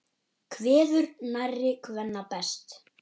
Kveður nærri kvenna best.